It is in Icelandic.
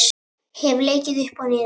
Hef leikið upp og niður.